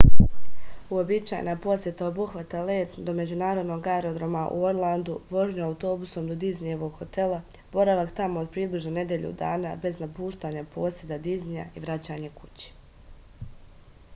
uobičajena poseta obuhvata let do međunarodnog aerodroma u orlandu vožnju autobusom do diznijevog hotela boravak tamo od približno nedelju dana bez napuštanja poseda diznija i vraćanje kući